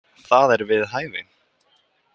Það er við hæfi.